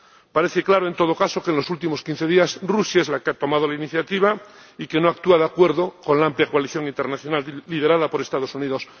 Parece claro, en todo caso, que, en los últimos quince días, Rusia es la que ha tomado la iniciativa y que no actúa de acuerdo con la amplia coalición internacional liderada por los Estados Unidos.